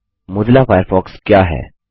Mozilla Firefox क्या है